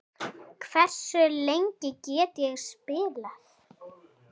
Hversu lengi get ég spilað?